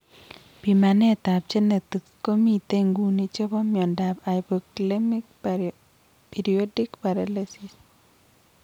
Pimanet ap genetics komitei nguni chepo miondap hypokalemic periodic paralysis